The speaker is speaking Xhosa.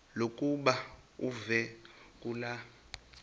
lokuba uve kulaa